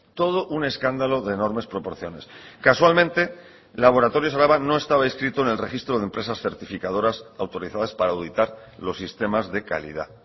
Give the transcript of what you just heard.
todo un escándalo de enormes proporciones casualmente laboratorios araba no estaba inscrito en el registro de empresas certificadoras autorizadas para auditar los sistemas de calidad